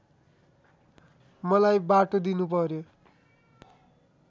मलाई बाटो दिनुपर्‍यो